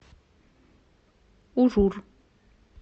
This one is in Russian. ужур